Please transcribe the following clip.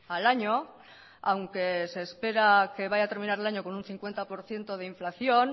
al año aunque se espera que vaya a terminar el año con un cincuenta por ciento de inflación